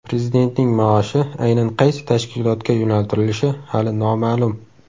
Prezidentning maoshi aynan qaysi tashkilotga yo‘naltirilishi hali noma’lum.